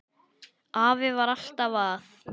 Afi var alltaf að.